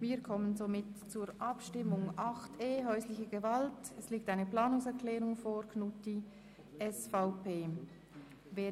Wir kommen zur Abstimmung über die Planungserklärung Knutti, SVP, zu 8.e Häusliche Gewalt.